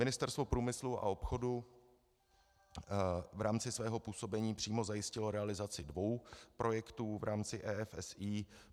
Ministerstvo průmyslu a obchodu v rámci svého působení přímo zajistilo realizaci dvou projektů v rámci EFSI.